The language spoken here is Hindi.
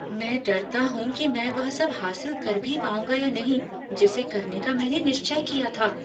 मैं डरता हूँ कि मैं वह सब हासिल कर भी पाऊंगा या नहीं जिसे करने का मैंने निश्चय किया था।